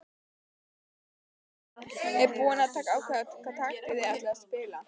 Ertu búinn að ákveða hvaða taktík þið ætlið að spila?